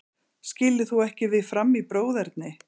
Skilur þú ekki við Fram í bróðerni?